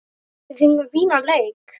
Við fengum fínan leik.